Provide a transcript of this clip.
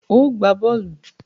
Óò gbá bọ́ọ̀lù!